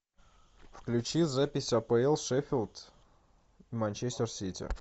включи запись апл шеффилд манчестер сити